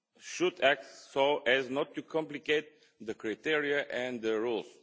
should act so as not to complicate the criteria and the rules.